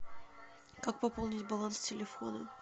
как пополнить баланс телефона